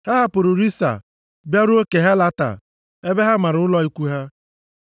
Ha hapụrụ Rissa bịaruo Kehelata ebe ha mara ụlọ ikwu ha.